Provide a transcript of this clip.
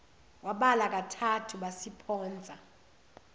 wabala kathathu basiphonsa